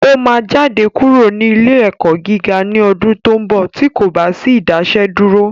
Ó máa jáde kúrò ní ilé ẹ̀kọ́ gíga ní ọdún tó ń bọ̀ tí kò bá sí Ìdásẹ́dúró